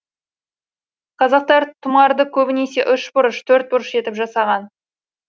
қазақтар тұмарды көбінесе ұшбұрыш төртбұрыш етіп жасаған